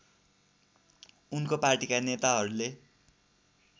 उनको पार्टीका नेताहरूले